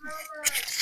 Nse